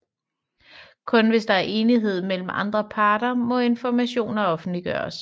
Kun hvis der er enighed mellem alle parter må informationer offentliggøres